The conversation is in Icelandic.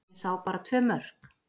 Ég sá bara tvö mörk.